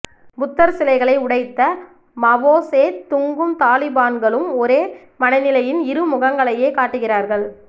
புத்தர்சிலைகளை உடைத்த மாவோ சே துங்கும் தாலிபான்களும் ஒரே மனநிலையின் இரு முகங்களையே காட்டுகிறார்கள்